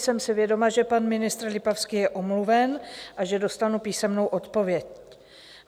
Jsem si vědoma, že pan ministr Lipavský je omluven a že dostanu písemnou odpověď.